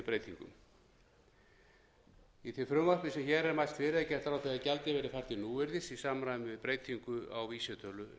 breytingum í því frumvarpi sem hér er mælt fyrir er gert ráð fyrir að gjaldið verði fært til núvirðis í samræmi við breytingu á vísitölu